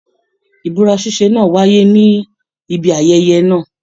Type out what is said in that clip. Ibúra ṣiṣe náà wáyé níbi ayẹyẹ náà.